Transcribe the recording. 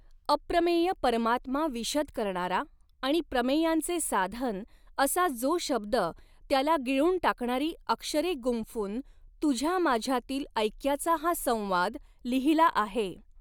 अप्रमेय परमात्मा विशद करणारा आणि प्रमेयांचे साधन असा जो शब्द त्याला गिळून टाकणारी अक्षरे गुंफ़ून तुझ्या माझ्यातील ऐक्याचा हा संवाद लिहिला आहे.